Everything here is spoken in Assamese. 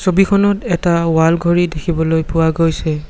ছবিখনত এটা ৱাল ঘড়ী দেখিবলৈ পোৱা গৈছে।